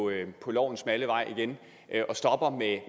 på lovens smalle vej igen og stopper